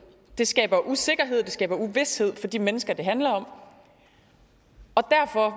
det skaber usikkerhed og det skaber uvished for de mennesker det handler om og